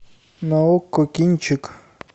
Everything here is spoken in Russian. на окко кинчик